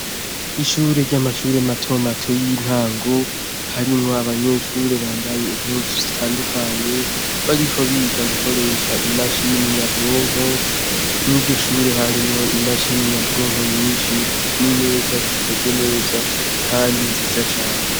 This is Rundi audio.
Ishure ry'amqhure matomato y'intango, harimwo abanyeshure bambaye impuzu zitandukanye, bariko biga gukoresha imashini nyabwonko, mw'iryo shure harimwo imashini nyabwonko nyinshi, n'imeza zikoze neza, kandi nziza cane.